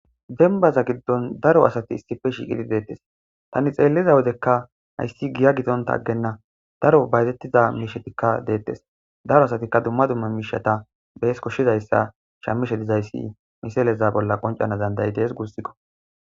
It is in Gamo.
denbaza giddon daro asati issippe shiiqidi deettes tani xeelliza wodekka hayssi giya gidonta aggenna daro bayzettiza miishetikka deettes daro asatikka dumma dumma miishata bees koshshizayssa shammishe dizayssi miseleza bolla qoncana danda'idees guussikko